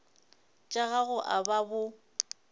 tša gago a ba bo